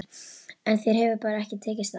En þér hefur bara ekki tekist það.